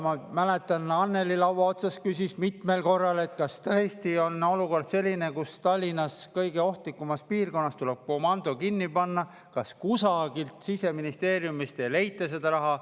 Ma mäletan, et Annely laua otsas küsis mitmel korral, et kas tõesti on olukord selline, et Tallinna kõige ohtlikumas piirkonnas tuleb komando kinni panna, kas kusagilt Siseministeeriumist ei leita seda raha.